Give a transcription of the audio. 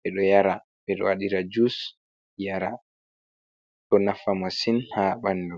ɓe ɗo yara, ɓeɗo waɗira jus yara, ɗo nafa masin ha ɓanɗu.